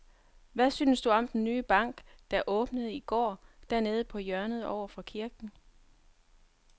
Hvad synes du om den nye bank, der åbnede i går dernede på hjørnet over for kirken?